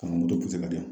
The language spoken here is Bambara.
Ka na moto kisɛ ka di yan